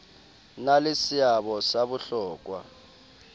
na le seabo sa bohlokwa